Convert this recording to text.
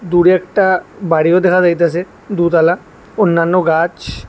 দূরে একটা বাড়িও দেখা যাইতাছে দুতালা অন্যান্য গাছ।